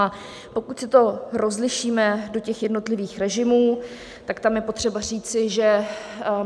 A pokud si to rozlišíme do těch jednotlivých režimů, tak tam je potřeba říci, že